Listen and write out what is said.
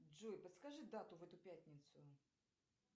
джой подскажи дату в эту пятницу